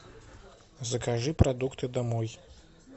закажи продукты домой